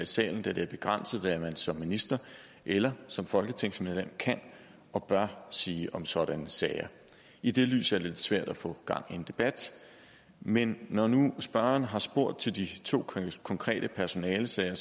salen da det er begrænset hvad man som minister eller som folketingsmedlem kan og bør sige om sådanne sager i det lys er det lidt svært at få gang i en debat men når nu spørgeren har spurgt til de to konkrete personalesager